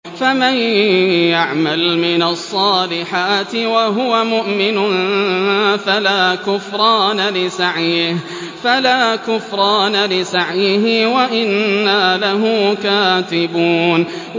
فَمَن يَعْمَلْ مِنَ الصَّالِحَاتِ وَهُوَ مُؤْمِنٌ فَلَا كُفْرَانَ لِسَعْيِهِ وَإِنَّا لَهُ كَاتِبُونَ